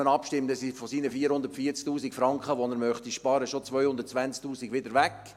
Dann sind von den 440’000 Franken, die er sparen möchte, 220’000 Franken schon wieder weg.